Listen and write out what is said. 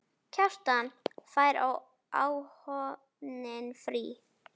Kjartan: Fær áhöfnin frí?